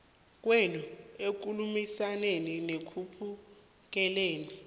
kwenu ekukhulumisaneni nekuphunguleni